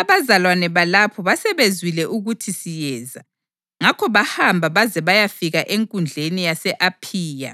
Abazalwane balapho basebezwile ukuthi siyeza, ngakho bahamba baze bayafika eNkundleni yase-Aphiya